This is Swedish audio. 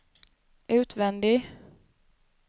utvändig